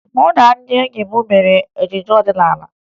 Mụ na ndị enyi m mere ejije ọdịnaala